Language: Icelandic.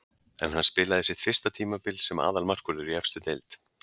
En hann spilaði sitt fyrsta tímabil sem aðalmarkvörður í efstu deild.